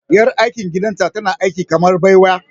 Ƴar aikin gidanta tana aiki kamar baiwa.